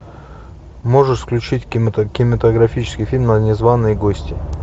можешь включить кинематографический фильм незванные гости